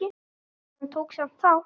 Hann tók samt þátt.